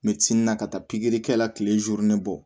na ka taa pikiri kɛ la kile bɔ